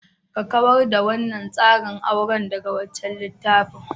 Ka kawar da wannan tsarin aure daga wancan littafin.